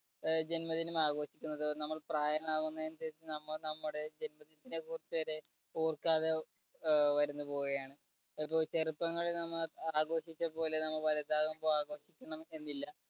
ജന്മദിനം ആഘോഷിക്കുന്നത് നമ്മൾ പ്രായമാകുന്നതിന്‍ടെ നമ്മുടെ ജന്മദിനത്തിനെ കുറിച്ച് വരെ ഓർക്കാതെ വരുന്നു പോവുകയാണ്. ചെറുപ്പങ്ങളിൽ നമ്മൾ ആഘോഷിച്ചതുപോലെ നമ്മൾ വലുതാവുമ്പോൾ ആഘോഷിക്കണമെന്നില്ല.